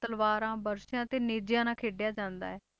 ਤਲਵਾਰਾਂ ਬਰਸ਼ਿਆਂ ਤੇ ਨੇਜਿਆਂ ਨਾਲ ਖੇਡਿਆ ਜਾਂਦਾ ਹੈ।